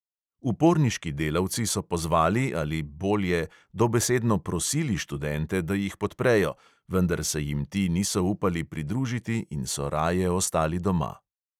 Uporniški delavci so pozvali ali, bolje, dobesedno prosili študente, da jih podprejo, vendar se jim ti niso upali pridružiti in so raje ostali doma.